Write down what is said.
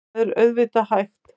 Það er auðvitað hægt.